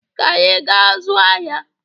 Ka anyị gaa zụọ ahịa